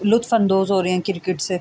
cricket سے--